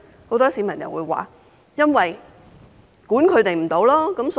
很多市民說因為無法規管他們。